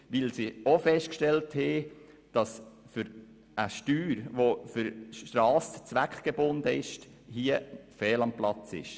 Sie haben auch festgestellt, dass eine für Strassen zweckgebundene Steuer hier fehl am Platz ist.